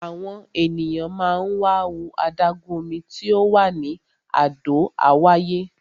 Àwọn ènìyàn máa ń wá wo adágún omi tí ò wà ní Àdó Àwáyé.